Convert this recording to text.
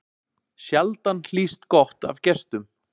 Sjaldan hlýst gott af gestum.